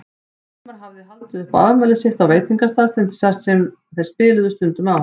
Hilmar hafði haldið upp á afmælið sitt á veitingastað sem þeir spiluðu stundum á.